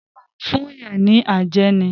Wọ́n máa ń fún yàn ní àjẹ́ ni.